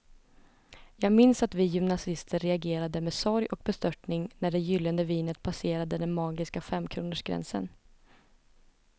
Jag minns att vi gymnasister reagerade med sorg och bestörtning när det gyllene vinet passerade den magiska femkronorsgränsen.